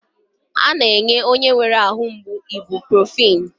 A na-enye onye nwere ahụ mgbu ibuprofin.